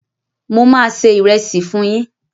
Mo máa ṣe ìrẹsì fún yín